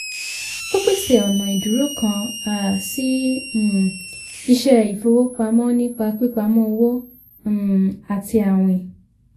ó pèsè ọ̀nà ìdúró kan um sí um iṣẹ ìfowópamọ́ nípa pípamọ́ owó um àti àwìn.